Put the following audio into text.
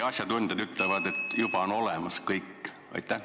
Asjatundjad ütlevad, et kõik vajalik on seaduses juba olemas.